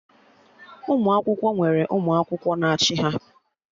Ụmụ akwụkwọ nwere ụmụ akwụkwọ na-achị ha